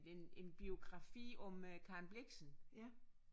En en biografi om øh Karen Blixen